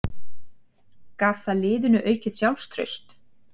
Gaf það liðinu aukið sjálfstraust?